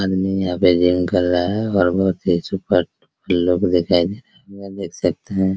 आदमी यहाँ पे जिम कर रहा है और बहुत से लोग दिखाई दे रहे है देख सकते है।